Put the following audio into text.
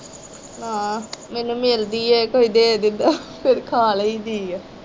ਆਹੋ ਮੈਨੂੰ ਮਿਲਦੀ ਏ ਕੋਈ ਦੇਦੇ ਤਾ ਫਿਰ ਖਾ ਲਈ ਦੀ ਏ।